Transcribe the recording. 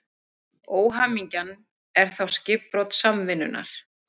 Óhamingjan er þá skipbrot samvinnunnar.